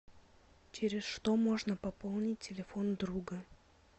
через что можно пополнить телефон друга